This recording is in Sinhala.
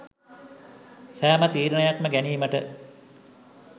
සෑම තීරණයක්ම ගැනීමට